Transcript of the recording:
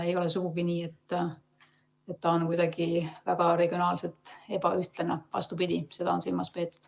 Ei ole sugugi nii, et see jaotus on regionaalselt väga ebaühtlane, vastupidi, seda on silmas peetud.